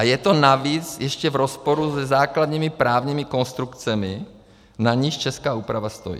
A je to navíc ještě v rozporu se základními právními konstrukcemi, na nichž česká úprava stojí.